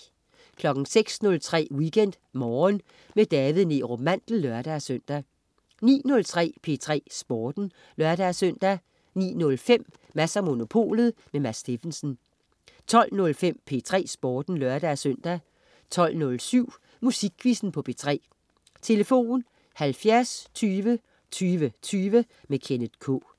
06.03 WeekendMorgen med David Neerup Mandel (lør-søn) 09.03 P3 Sporten (lør-søn) 09.05 Mads & Monopolet. Mads Steffensen 12.05 P3 Sporten (lør-søn) 12.07 Musikquizzen på P3. Tlf.: 70 20 20 20. Kenneth K